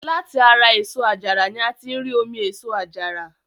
Láti ara èso àjàrà ni a tí ń rí omi èso àjàrà.